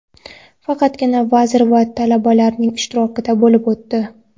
faqatgina vazir va talabalar ishtirokida bo‘lib o‘tdi.